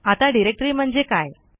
आता डिरेक्टरी म्हणजे काय